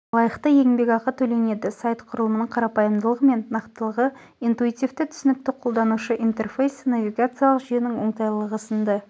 лайықты еңбекақы төленеді сайт құрылымының қарапайымдылығы мен нақтылығы интуитивті түсінікті қолданушы интерфейсі навигациялық жүйенің оңтайлылығы сынды